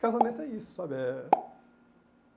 Casamento é isso, sabe? É